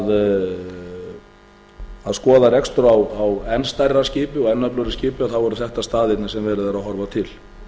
yrði í að skoða rekstur á enn stærra skipi og enn öflugra skipi þá eru þetta staðirnir sem verið er að horfa til